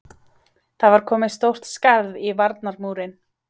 Það var komið stórt skarð í varnarmúrinn!